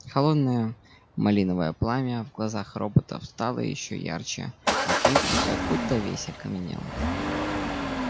холодное малиновое пламя в глазах роботов стало ещё ярче а кьюти как будто весь окаменел